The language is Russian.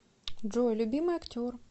джой любимый актер